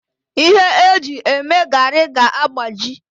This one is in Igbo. Ihe eji eme garri ga-agbaji